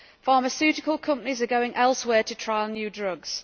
Pharmaceutical companies are going elsewhere to trial new drugs.